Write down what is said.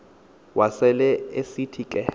wasel esithi ke